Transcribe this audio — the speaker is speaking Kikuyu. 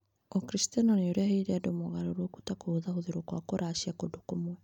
Ũkristiano nĩ ũreheire andũ mogarũrũku, ta kũhũthahũthio kwa kũracia kũndũ kũmwe.